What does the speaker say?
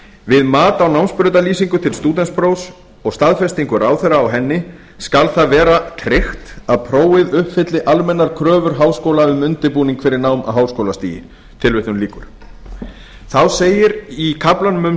við mat á námsbrautarlýsingu til stúdentsprófs og staðfestingu ráðherra á henni skal það vera tryggt að prófið uppfylli almennar kröfur háskóla um undirbúning fyrir nám á háskólastigi tilvitnun lýkur þá segir í kaflanum um